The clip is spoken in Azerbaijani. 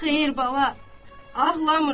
Xeyr bala, ağlamıram.